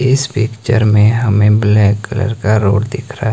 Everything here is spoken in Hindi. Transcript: इस पिक्चर में हमें ब्लैक कलर का रोड दिख रहा--